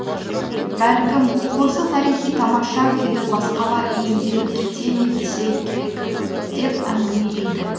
бәлкім осы тарихи тамаша күйді басқалар иемденіп кете ме десе керек деп әңгімелейді